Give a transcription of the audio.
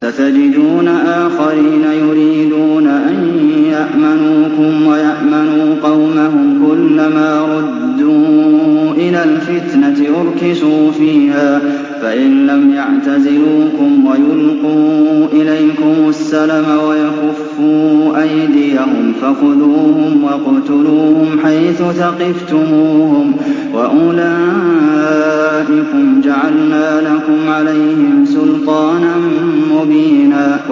سَتَجِدُونَ آخَرِينَ يُرِيدُونَ أَن يَأْمَنُوكُمْ وَيَأْمَنُوا قَوْمَهُمْ كُلَّ مَا رُدُّوا إِلَى الْفِتْنَةِ أُرْكِسُوا فِيهَا ۚ فَإِن لَّمْ يَعْتَزِلُوكُمْ وَيُلْقُوا إِلَيْكُمُ السَّلَمَ وَيَكُفُّوا أَيْدِيَهُمْ فَخُذُوهُمْ وَاقْتُلُوهُمْ حَيْثُ ثَقِفْتُمُوهُمْ ۚ وَأُولَٰئِكُمْ جَعَلْنَا لَكُمْ عَلَيْهِمْ سُلْطَانًا مُّبِينًا